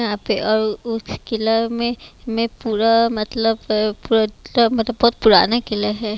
यहाँ पे और उस में मैं पूरा मतलब पूरा मतलब बहुत पुराने किले हैं।